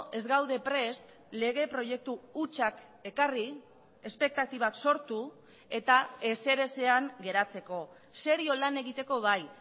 ez gaude prest lege proiektu hutsak ekarri espektatibak sortu eta ezer ezean geratzeko serio lan egiteko bai